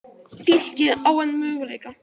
Fylkir á enn möguleika